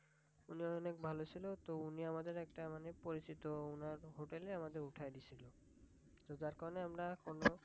উনি অনেক ভালো ছিল। উনি আমাদের একটা মানে পরিচিত হোটেলে আমাদের উঠাই দিছিল যার কারণে আমরা কোন